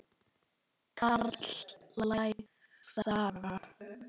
Karllæg saga?